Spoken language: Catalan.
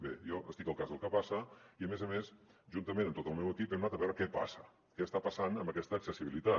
bé jo estic al cas del que passa i a més a més juntament amb tot el meu equip hem anat a veure què passa què està passant amb aquesta accessibilitat